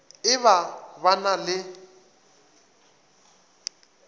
e ba ba na le